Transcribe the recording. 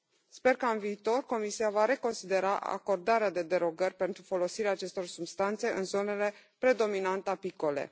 Sper că, în viitor, Comisia va reconsidera acordarea de derogări pentru folosirea acestor substanțe în zonele predominant apicole.